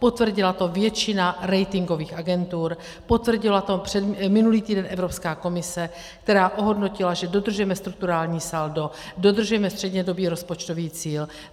Potvrdila to většina ratingových agentur, potvrdila to minulý týden Evropská komise, která ohodnotila, že dodržujeme strukturální saldo, dodržujeme střednědobý rozpočtový cíl.